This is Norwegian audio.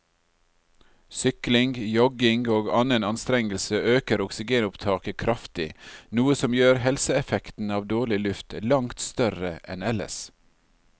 Sykling, jogging og annen anstrengelse øker oksygenopptaket kraftig, noe som gjør helseeffekten av dårlig luft langt større enn ellers.